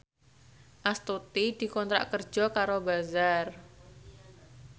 Astuti dikontrak kerja karo Bazaar